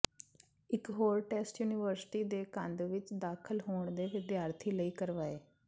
ਇਕ ਹੋਰ test university ਦੇ ਕੰਧ ਵਿੱਚ ਦਾਖਲ ਹੋਣ ਦੇ ਵਿਦਿਆਰਥੀ ਲਈ ਕਰਵਾਏ